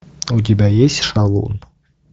у тебя есть шалун